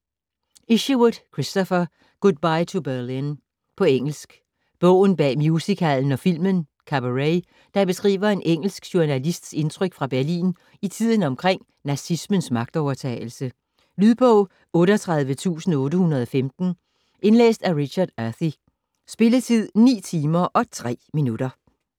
Isherwood, Christopher: Goodbye to Berlin På engelsk. Bogen bag musical'en og filmen: Cabaret, der beskriver en engelsk journalists indtryk fra Berlin i tiden omkring nazismens magtovertagelse. Lydbog 38815 Indlæst af Richard Earthy. Spilletid: 9 timer, 3 minutter.